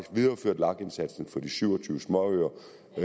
videreført lag indsatsen for de syv og tyve småøer